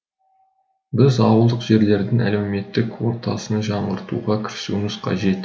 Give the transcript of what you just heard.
біз ауылдық жерлердің әлеуметтік ортасын жаңғыртуға кірісуіміз қажет